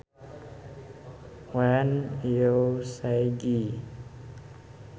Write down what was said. When you say Gee